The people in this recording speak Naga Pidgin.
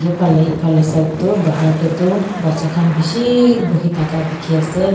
Phale ephale side tuh bahar dae tuh bacha khan beshiiii buhi thaka dekhey ase.